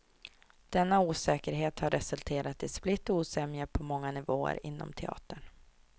Denna osäkerhet har resulterat i split och osämja på många nivåer inom teatern.